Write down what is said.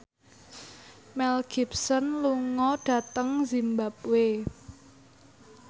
Mel Gibson lunga dhateng zimbabwe